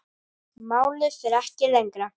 Málið fer ekki lengra.